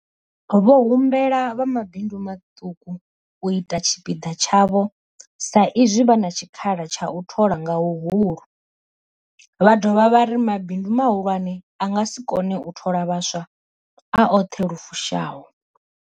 Vho humbela vha mabindu maṱuku u ita tshipiḓa tshavho sa izwi vha na tshikhala tsha u thola nga huhulu, vha dovha vha ri mabindu mahulwane a nga si kone u thola vhaswa a oṱhe lu fushaho.